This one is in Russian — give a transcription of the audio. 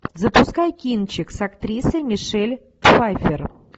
запускай кинчик с актрисой мишель пфайффер